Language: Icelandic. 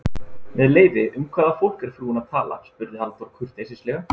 Með leyfi, um hvaða fólk er frúin að tala? spurði Halldór kurteislega.